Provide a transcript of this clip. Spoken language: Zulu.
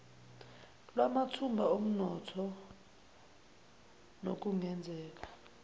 lwamathuba omnotho nokungenzeka